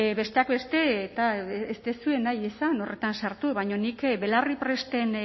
besteak beste eta ez duzue nahi izan horretan sartu baina nik belarripresten